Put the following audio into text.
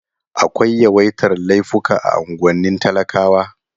Akwai yawaitar laifuka a unguwannin talakawa.